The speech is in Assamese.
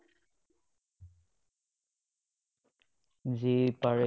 যি পাৰে